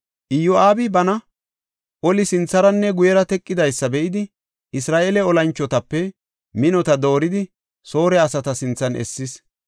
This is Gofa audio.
Iyo7aabi bana oli sintharanne guyera teqidaysa be7idi, Isra7eele olanchotape minota dooridi Soore asata sinthan essis.